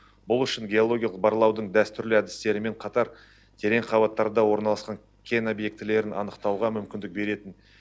бұл үшін геологиялық барлаудың дәстүрлі әдістерімен қатар терең қабаттарда орналасқан кен объектілерін анықтауға мүмкіндік беретін